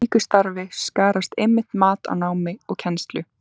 Í slíku starfi skarast einmitt mat á námi og kennslu.